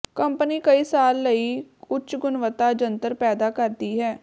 company ਕਈ ਸਾਲ ਲਈ ਉੱਚ ਗੁਣਵੱਤਾ ਜੰਤਰ ਪੈਦਾ ਕਰਦੀ ਹੈ